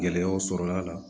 Gɛlɛyaw sɔrɔla la